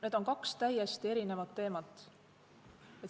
Need on kaks täiesti erinevat teemat.